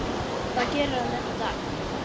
Það gerir hann enn í dag.